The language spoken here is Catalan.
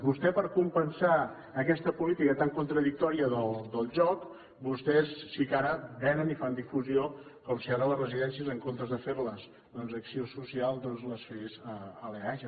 vostè per compensar aquesta política tan contradictòria del joc vostès sí que ara venen i fan difusió com si ara les residències en comptes de fer les doncs acció social doncs les fes l’eaja